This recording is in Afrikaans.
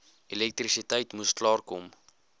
elektrisiteit moes klaarkom